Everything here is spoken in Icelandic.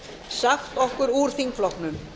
sagt okkur úr þingflokknum